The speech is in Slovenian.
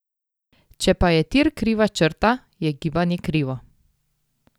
Če pa je tir kriva črta, je gibanje krivo.